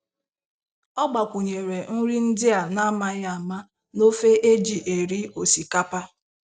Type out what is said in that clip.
Ọ gbakwụnyere nri ndị a na-amaghị ama na ofe eji eri osikapa.